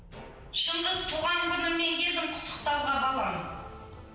шыңғыс туған күніңе келдім құттықтауға балам